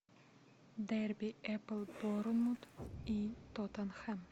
дерби апл борнмут и тоттенхэм